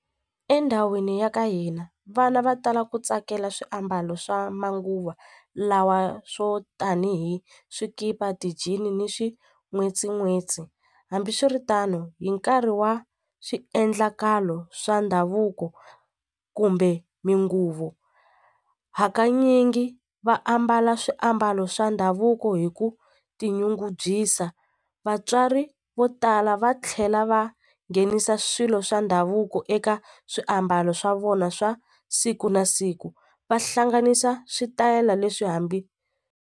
Endhawini ya ka hina vana va tala ku tsakela swiambalo swa manguva lawa swo tanihi swikipa ti-jean ni swin'wetsin'wetsi hambiswiritano hi nkarhi wa swiendlakalo swa ndhavuko kumbe hakanyingi va ambala swiambalo swa ndhavuko hi ku tinyungubyisa vatswari vo tala va tlhela va nghenisa swilo swa ndhavuko eka swiambalo swa vona swa siku na siku va hlanganisa switayela leswi hambi.